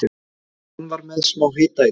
Hann var með smá hita í dag.